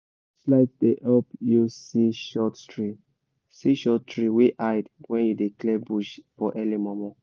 light dey help you see short tree see short tree wey hide when you dey clear bush for early momo